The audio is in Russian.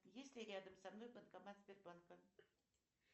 есть ли рядом со мной банкомат сбербанка